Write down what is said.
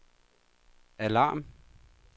alarm